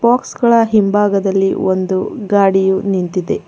Box ಗಳ ಹಿಂಬಾಗದಲ್ಲಿ ಒಂದು ಗಾಡಿಯು ನಿಂತಿದೆ.